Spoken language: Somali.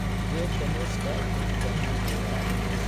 Geedka muuska wuxuu u baahan yahay waraabin.